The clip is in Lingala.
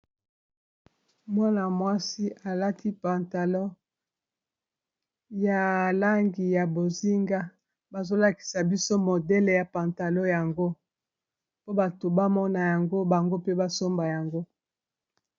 Mwana-mwasi alati pantalon ya langi ya bozinga bazolakisa biso modele ya pantalon yango po bato ba mona yango bango pe basomba yango.